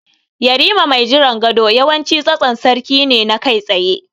Yarima mai jiran gado yawanci tsatson sarki ne na kai tsaye.